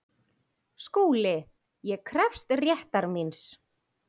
SKÚLI: Ég krefst réttar míns.